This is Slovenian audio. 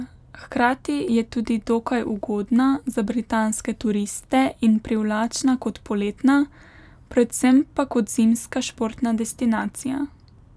Hkrati je tudi dokaj ugodna za britanske turiste in privlačna kot poletna, predvsem pa kot zimska športna destinacija.